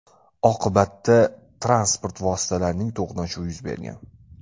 Oqibatda transport vositalarining to‘qnashuvi yuz bergan.